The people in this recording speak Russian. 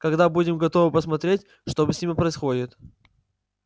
когда будем готовы подсмотреть что с ними происходит